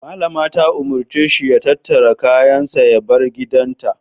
Mallama ta umarce shi ya tattara kayansa ya bar gidanta.